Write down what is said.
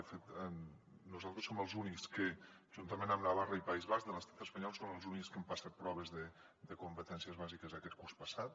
de fet nosaltres som els únics que juntament amb navarra i país basc de l’estat espanyol som els únics que hem passat proves de competències bàsiques aquest curs passat